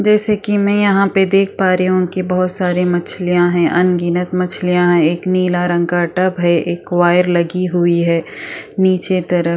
जैसे कि मैं यहाँ पे देख पा रही हूँ कि बहुत सारे मछलियाँ है अनगिनत मछलियाँ एक नीला रंग का टब है एक वायर लगी हुई है नीचे तरफ --